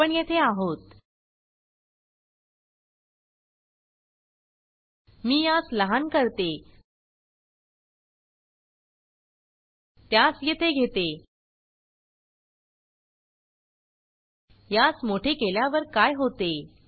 आपण येथे आहोत मी यास लहान करते त्यास येथे घेते यास मोठे केल्यावर काय होते